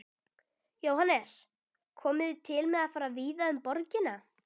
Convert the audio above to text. Jóhannes: Komið þið til með að fara víða um borgina?